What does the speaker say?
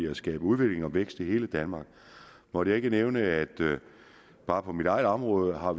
at skabe udvikling og vækst i hele danmark måtte jeg ikke nævne at bare på mit eget område har